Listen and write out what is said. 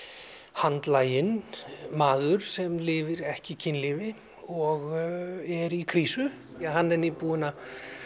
handlaginn maður sem lifir ekki kynlífi og er í krísu hann er nýbúinn að